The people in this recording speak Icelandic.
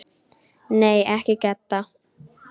Nei, ekki Gedda.